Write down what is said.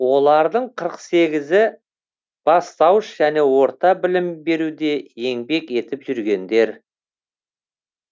олардың қырық сегізі бастауыш және орта білім беруде еңбек етіп жүргендер